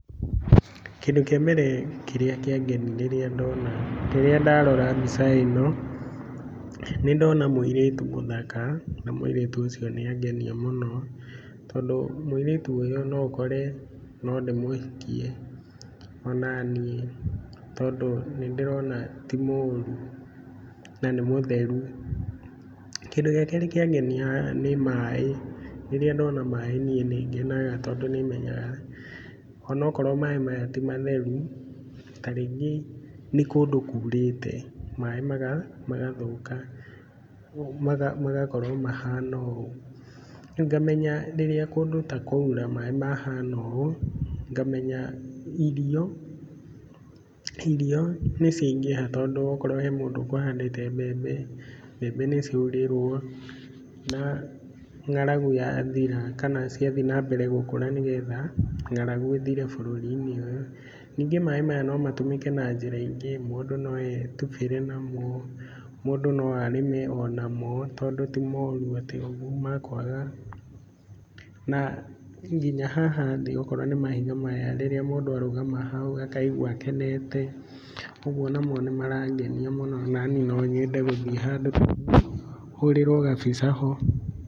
Kĩndũ kĩa mbere kĩrĩa kĩangeni rĩrĩa ndona, rĩrĩa ndarora mbica ĩno, nĩndona mũirĩtu mũthaka na mũirĩtu ũcio nĩangenia mũno. Tondũ mũirĩtu ũyũ no ũkore no ndĩmũhikie onaniĩ, tondũ nĩndĩrona ti mũru na nĩ mũtheru. Kĩndũ gĩa kerĩ kĩangenia haha nĩ maĩ. Rĩrĩa ndona maĩ niĩ nĩngenaga tondũ nĩmenyaga onokorwo maĩ maya ti matheru, ta rĩngĩ nĩ kũndũ kurĩte maĩ magathũka, magakorwo mahana ũũ. Rĩu ngamenya rĩrĩa kũndũ ta kũu kwaura maĩ mahana ũũ, ngamenya irio irio nĩciaingĩha tondũ okorwo he mũndũ ũkũhandĩte mbembe, mbembe nĩciaurĩrwo na ng'aragu yathira kana ciathiĩ na mbere gũkũra nĩgetha ng'aragu ĩthire bũrũri-inĩ ũyũ. Ningĩ maĩ maya no matũmĩke na njĩra ingĩ, mũndũ no etubĩre namo, mũndũ no arĩme onamo, tondũ ti moru atĩ ũguo makwaga, na nginya haha thĩ okorwo nĩ mahiga maya, rĩrĩa mũndũ arũgama hau akaigua akenete, ũguo onamo nĩmarangenia mũno, onaniĩ no nyende gũthiĩ handũ ta hau hũrĩrwo gabica ho.